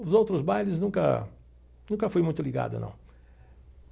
Os outros bailes nunca nunca fui muito ligado não.